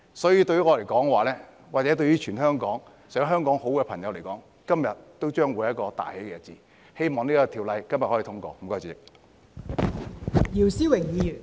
所以，對於我或全香港想香港好的朋友來說，今天將會是一個大喜日子，希望《條例草案》今天可以通過。